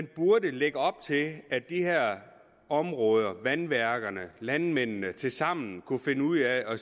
burde lægge op til at de her områder vandværkerne landmændene tilsammen kunne finde ud af